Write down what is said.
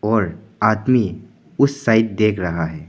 और आदमी उस साइड देख रहा हैं।